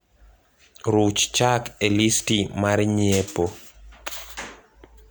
Ruch Chak e listi mar nyiepo